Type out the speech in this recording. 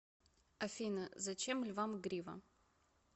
афина зачем львам грива